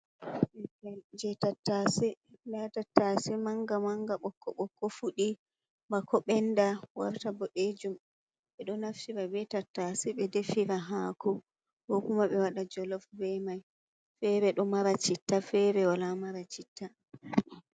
Tattashe, nda tattashe manga-manga, bokko-bokko. Fuɗi bako ɓenda warta bo ɗejum. Ɓe ɗo naftira be tattashe ɓe defira hako. Kokuma be waɗa jolof be mai. Fere ɗo mara citta, fere wala mara citta.